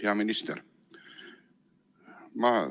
Hea minister!